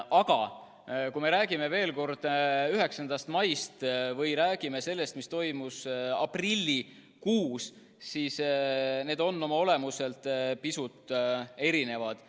Ent kui me räägime veel kord 9. maist ja räägime sellest, mis toimus aprillikuus, siis need on oma olemuselt pisut erinevad.